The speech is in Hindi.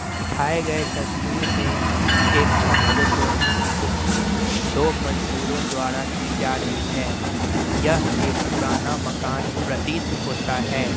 दिखाए गए तस्वीर में एक छत को तोड़ने की कोशिश दो मजदुरों द्वारा की जा रही है यह एक पुराना मकान प्रतीत होता है।